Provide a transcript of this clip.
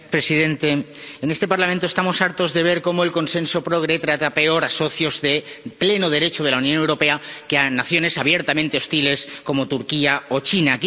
Señora presidenta, en este Parlamento estamos hartos de ver cómo el consenso progre trata peor a socios de pleno derecho de la Unión Europea que a naciones abiertamente hostiles, como Turquía o China.